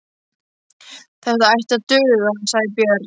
Þetta ætti að duga, sagði Björn.